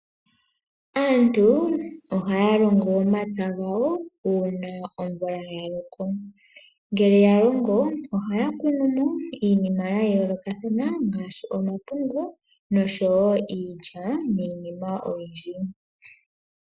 Aantu ohaya longo omatsa gawo uuna omvula ya loko ngele ya longo ohaya kunu mo iinima ya yoolokathana ngaashi omapungu, iilya niinima oyindji.